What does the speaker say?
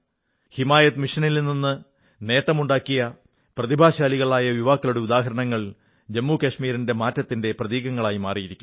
ഹിമായത് മിഷനിൽ നിന്ന് നേട്ടമുണ്ടാക്കിയ പ്രതിഭാശാലികളായ യുവാക്കളുടെ ഉദാഹരണങ്ങൾ ജമ്മു കശ്മീരിൽ മാറ്റത്തിന്റെ പ്രതീകങ്ങളായിരിക്കുന്നു